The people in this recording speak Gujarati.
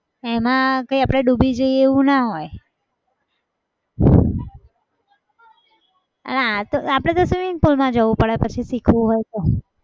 એમાં કઈ આપણે ડૂબી જઈએ એવું ના હોય અને આ તો આપણે તો swimming pool માં જવું પડે પછી શીખવું હોય તો.